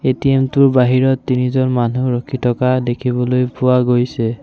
ATM টোৰ বাহিৰত তিনিজন মানুহ ৰখি থকা দেখিবলৈ পোৱা গৈছে।